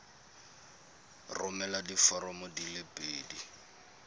romela diforomo di le pedi